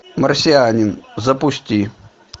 марсианин запусти